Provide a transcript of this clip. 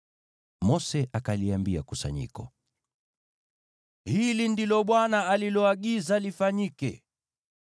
Mose akaliambia kusanyiko, “Hili ndilo Bwana ameagiza lifanyike.”